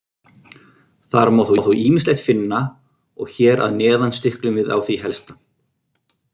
Þar má þó ýmislegt finna og hér að neðan stiklum við á því helsta.